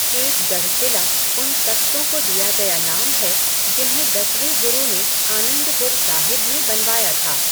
केसगढ़ किला उन तख़्तों को दिया गया नाम है जिन्हें दसवें गुरु ने आनंदपुर साहिब में बनवाया था।